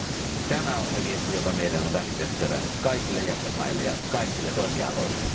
Ja tämä on se viesti, joka meidän on välitettävä kaikille jäsenvaltioille ja kaikille toimialoille!